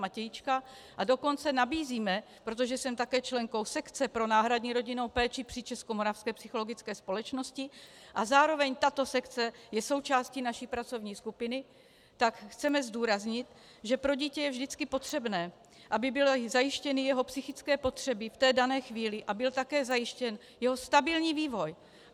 Matějčka, a dokonce nabízíme, protože jsem také členkou sekce pro náhradní rodinnou péči při Českomoravské psychologické společnosti a zároveň tato sekce je součástí naší pracovní skupiny, tak chceme zdůraznit, že pro dítě je vždycky potřebné, aby byly zajištěny jeho psychické potřeby v té dané chvíli a byl také zajištěn jeho stabilní vývoj.